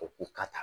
O k'u ka taa